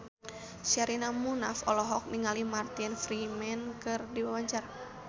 Sherina Munaf olohok ningali Martin Freeman keur diwawancara